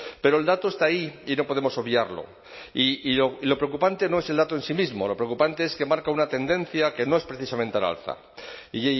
pero el dato está ahí y no podemos obviarlo y lo preocupante no es el dato en sí mismo lo preocupante es que marca una tendencia que no es precisamente al alza y